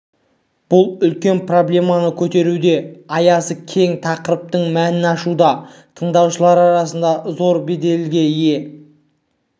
бұл үлкен проблеманы көтеруде аясы кең тақырыптың мәнін ашуда тыңдаушылар арасында зор беделге ие